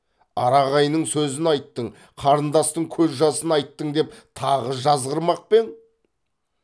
ара ағайынның сөзін айттың қарындастың көз жасын айттың деп тағы жазғырмақ пең